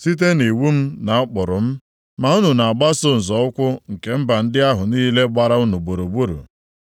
site nʼiwu m na ụkpụrụ m. Ma unu na-agbaso nzọ ụkwụ nke mba ndị ahụ niile gbara unu gburugburu.”